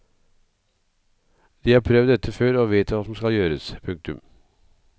De har prøvd dette før og vet hva som skal gjøres. punktum